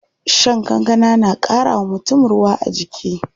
Shan kankana na ƙara wa mutum ruwa a jiki.